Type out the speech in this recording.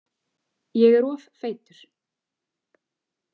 Ég er of feitur.